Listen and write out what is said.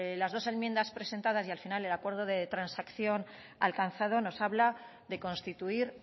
las dos enmiendas presentadas y al final el acuerdo de transacción alcanzado nos habla de constituir